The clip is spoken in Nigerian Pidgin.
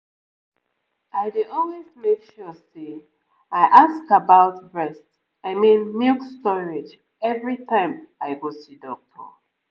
i dey always make sure say i ask about breast i mean milk storage every time i go see doctor